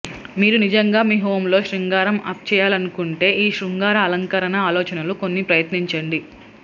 మీరు నిజంగా మీ హోమ్ లో శృంగారం అప్ చేయాలనుకుంటే ఈ శృంగార అలంకరణ ఆలోచనలు కొన్ని ప్రయత్నించండి